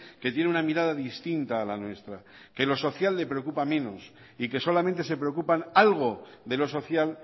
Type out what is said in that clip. que tiene una mirada distinta a la nuestra que lo social le preocupa menos y que solamente se preocupan algo de lo social